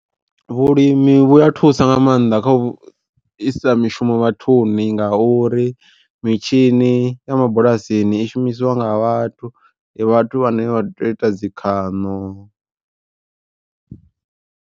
Vhulimi vhu a thusa nga maanḓa kha u isa mishumo vhathuni nga uri mitshini ya mabulasini i shumisiwa nga vhathu vhathu vhane vha tea uita dzi khaṋo.